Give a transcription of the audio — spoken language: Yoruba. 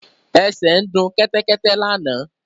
Ẹsẹ ń du Kẹ́tẹ́kẹ́tẹ́ lànà.